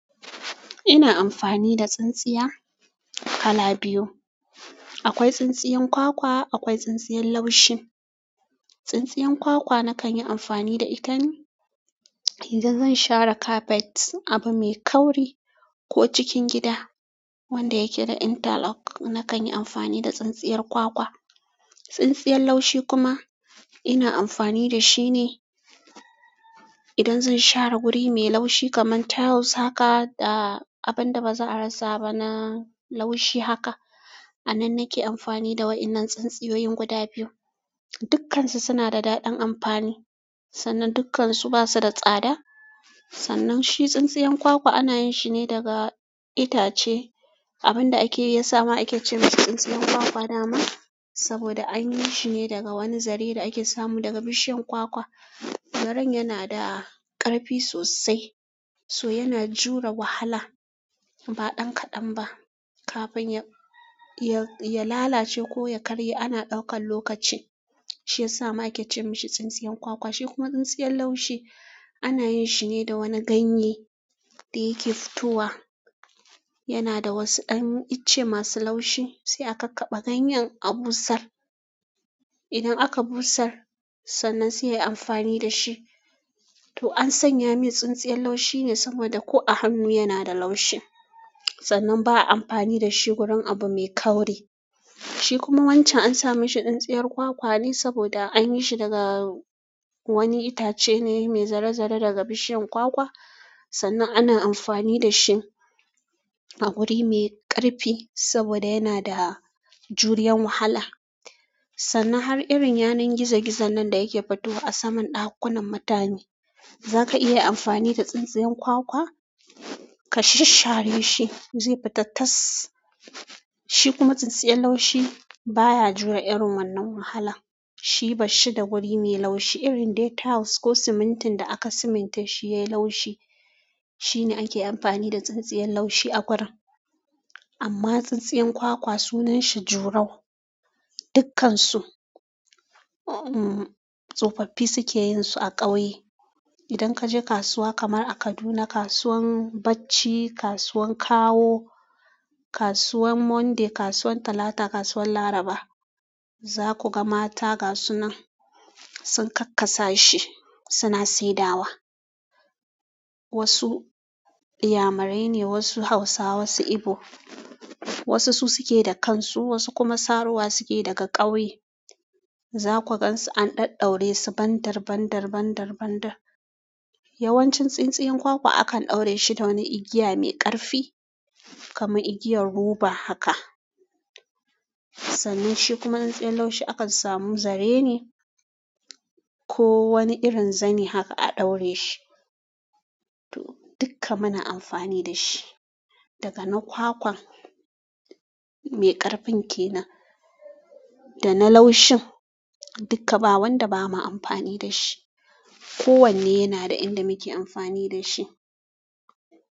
Ina amfani da tsintsiya kala biyu. Akwai tsintsiyar kwakwa, akwai tsintsiyar laushin. Tsintsiyar kwakwa na kan yi amfani da ita idan zan share kafet, abu mai kauri ko cikin gida wanda yake da interlock, na kan yi amfani da tsintsiyar kwakwa. Tsintsiyar laushi kuma, ina amfani da shi ne idan zan share wuri mai laushi kamar tiles haka da abin da ba za a rasa ba na laushi haka. A nan nake amfani da waɗannan tsintsiyoyin guda biyu. Dukansu suna da daɗin amfani, sannan dukansu basu da tsada. Sannan shi tsintsiyar kwakwa ana yin shi ne daga itace abin da ake iya samun ake ce masa tsintsiyar kwakwa nama saboda an yi shi ne daga wani zare da ake samu daga bishiyar kwakwa. Zaren yana da ƙarfi sosai, so yana jure wahala ba ɗan kaɗan ba. Kafin ya lalace ko ya karye ana ɗaukan lokaci. Shi ya sa ma ake ce masa tsintsiyar kwakwa. Shi kuma tsintsiyar laushi ana yin shi ne da wani ganye da yake fitowa. Yana da wasu ɗan itace masu laushi sai aka kakkaɓe ganyen a busar. Idan aka busar sannan sai ayi amfani da shi. To an sanya min tsintsiyar laushi ne saboda ko a hannu yana da laushi. Sannan ba'a amfani da shi wurin abu mai kauri. Shi kuma wancan an sa masa tsintsiyar kwakwa ne saboda an yi shi daga wani itace ne mai zare-zare daga bishiyar kwakwa. Sannan ana amfani da shi a wuri mai ƙarfi saboda yana da juriyan wahala. Sannan har irin yanar gizo-gizo nan da yake fitowa a saman ɗakunan matane. Za ka iya amfani da tsintsiyar kwakwa ka shashshare shi zai fita tas. Shi kuma tsintsiyar laushi baya jure irin wannan wahala. Shi barshi da wuri mai laushi irin dai tiles ko simintin da aka simince shi yayi laushi. Shi ne ake amfani da tsintsiyar laushi a gurin. Amma tsintsiyar kwakwa sunan shi jurau. Dukansu, uhm, tsofaffi suke yin su a ƙauye. Idan ka je kasuwa kamar a Kaduna, kasuwan bacci, kasuwan kawo, kasuwan Monday, kasuwan Talata, kasuwan Laraba za ku ga mata ga sunan sun kakkasa shi suna saidawa. Wasu iyamarai ne, wasu Hausawa, wasu Igbo. Wasu su suke da kansu, wasu kuma sarowa suke daga ƙauye. Za ku gan su an ɗadɗaura su bandir, bandir, bandir, bandir. Yawanci tsintsiyar kwakwa akan ɗaura shi da wani igiya mai ƙarfi kamar igiyar roba haka. Sannan shi kuma tsintsiyar laushi akan samu zare ne ko wani irin zani haka a ɗaure shi. To dukka muna amfani da shi daga na kwakwan mai ƙarfin ke nan da na laushin. Dukka ba wanda bama amfani da shi. Ko wanne yana da inda muke amfani da shi.